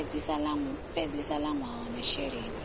fhedzisa ḽa ṅwaha wa masheleni